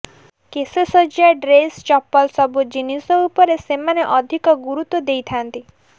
କେଶସଜ୍ଜା dress ଚପଲ ସବୁ ଜିନିଷ ଉପରେ ସେମାନେ ଅଧିକ ଗୁରୁତ୍ୱ ଦେଇଥାନ୍ତି